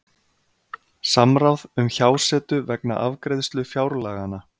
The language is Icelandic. Samráð um hjásetu vegna afgreiðslu fjárlaganna